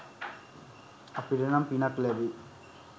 අපිට නම් පිනක් ලැබෙයි